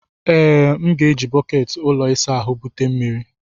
Ee, m ga-eji bọket ụlọ ịsa ahụ bute mmiri.